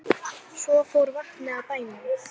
Svo fór vatnið af bænum.